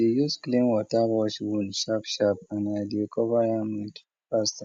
i dey use clean water wash wound sharp sharp and i dey cover am with plaster